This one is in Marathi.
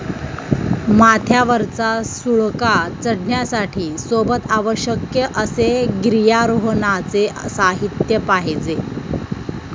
माथ्यावरचा सुळका चढण्यासाठी सोबत आवश्यक असे गिर्यारोहणाचे साहित्य पाहिजे